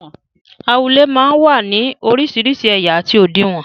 Awúlẹ̀ máa ń wá ní orísìírísìí ẹ̀yà àti òdiwọ̀n.